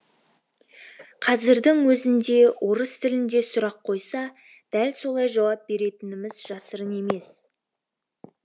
қазірдің өзінде орыс тілінде сұрақ қойса дәл солай жауап беретініміз жасырын емес